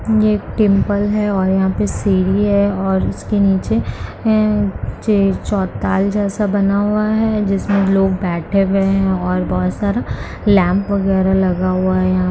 ये एक टेम्पल है और यहा पे सीढ़ी है और इसके नीचे हैचे चौताल जैसा बना हुआ है जिसमे लोग बेठे हुए हैं और बहुत सारा लैम्प वगेरा लगा हुआ है। यहा--